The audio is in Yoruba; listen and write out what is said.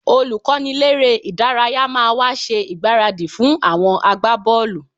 Olùkọ́niléré-ìdárayá máa wá ṣe ìgbáradì fún àwọn agbábọ́ọ̀lù